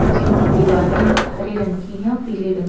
Gym कि दीवारे हरे रंग की है और पीले रंग की है।